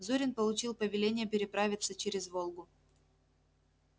зурин получил повеление переправиться через волгу